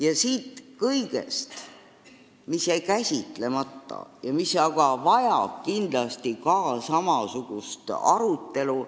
Jäi käsitlemata hulk teemasid, mis vajavad kindlasti ka samasugust arutelu.